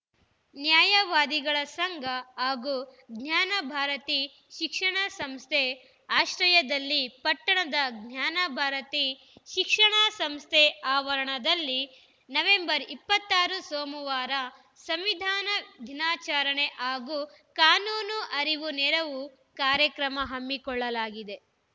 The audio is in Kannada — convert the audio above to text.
ನ್ಯಾಯವಾದಿಗಳ ಸಂಘ ಹಾಗೂ ಜ್ಞಾನಭಾರತಿ ಶಿಕ್ಷಣ ಸಂಸ್ಥೆ ಆಶ್ರಯದಲ್ಲಿ ಪಟ್ಟಣದ ಜ್ಞಾನಭಾರತಿ ಶಿಕ್ಷಣ ಸಂಸ್ಥೆ ಆವರಣದಲ್ಲಿ ನವೆಂಬರ್ ಇಪ್ಪತ್ತ್ ಆರು ಸೋಮವಾರ ಸಂವಿಧಾನ ದಿನಾಚಾರಣೆ ಹಾಗೂ ಕಾನೂನು ಅರಿವು ನೆರವು ಕಾರ್ಯಕ್ರಮ ಹಮ್ಮಿಕೊಳ್ಳಲಾಗಿದೆ